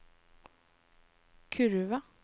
kurve